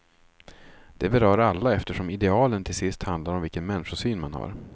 Det berör alla eftersom idealen till sist handlar om vilken människosyn man har.